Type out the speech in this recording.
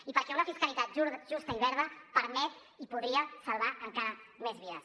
i perquè una fiscalitat justa i verda permet i podria salvar encara més vides